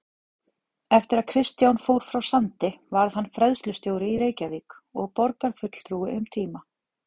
Eftir að Kristján fór frá Sandi varð hann fræðslustjóri í Reykjavík og borgarfulltrúi um tíma.